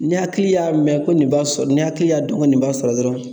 Ni hakili y'a mɛn ko nin b'a sɔrɔ ni hakili y'a dɔn ko nin b'a sɔrɔ dɔrɔn